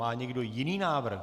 Má někdo jiný návrh?